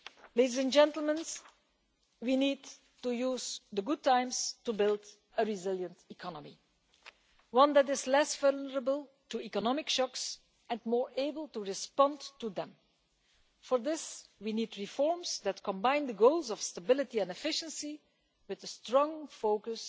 Ladies and gentlemen, we need to use the good times to build a resilient economy one that is less vulnerable to economic shocks and more able to respond to them. For this, we need reforms that combine the goals of stability and efficiency with a strong